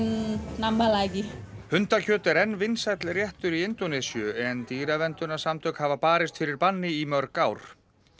hundakjöt er enn vinsæll réttur í Indónesíu en hafa barist fyrir banni í mörg ár